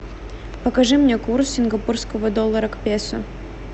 покажи мне курс сингапурского доллара к песо